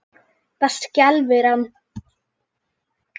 Það skelfir hann.